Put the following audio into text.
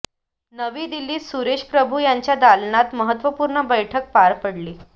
नवी दिल्लीत सुरेश प्रभू यांच्या दालनात महत्वपूर्ण बैठक पार पडली